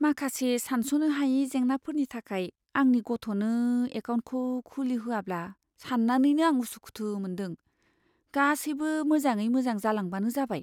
माखासे सानस'नो हायि जेंनाफोरनि थाखाय आंनि गथ'नो एकाउन्टखौ खुलिहोयाब्ला सान्नानैनो आं उसुखुथु मोनदों, गासैबो मोजाङै मोजां जालांबानो जाबाय।